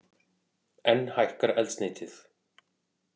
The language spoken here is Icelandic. Enn hækkar eldsneytið